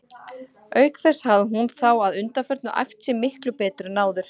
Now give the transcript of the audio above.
Auk þess hafði hún þá að undanförnu æft sig miklu betur en áður.